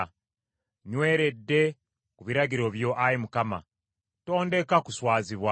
Nnyweredde ku biragiro byo, Ayi Mukama , tondeka kuswazibwa.